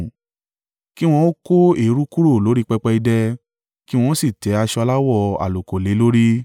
“Kí wọn ó kó eérú kúrò lórí pẹpẹ idẹ, kí wọn ó sì tẹ́ aṣọ aláwọ̀ àlùkò lé e lórí.